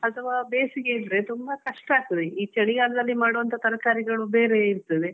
ತರಕಾರಿ ಎಲ್ಲಾ ಮಾಡುವ time ಅಂದ್ರಿರ್ತದೆ ಆ time ಅಲ್ಲಿ ಈ ರೀತಿ ಮಳೆ ಬಂದ್ರೆ ಅಥವಾ ಬೇಸಿಗೆ ಇದ್ರೆ ತುಂಬಾ ಕಷ್ಟ ಅಗ್ತದೆ ಈ ಚಳಿಗಾಲದಲ್ಲಿ ಮಾಡುವಂತಹ ತರ್ಕಾರಿಗಳು ಬೇರೆ ಇರ್ತದೆ.